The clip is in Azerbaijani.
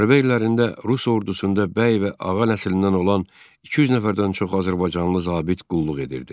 Müharibə illərində rus ordusunda bəy və ağa nəslindən olan 200 nəfərdən çox azərbaycanlı zabit qulluq edirdi.